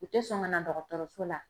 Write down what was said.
U te sɔn ka na dɔgɔtɔrɔso la